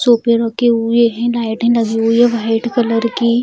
सोफे रखे हुए हैं लाइटें लगी हुई है वाइट कलर की।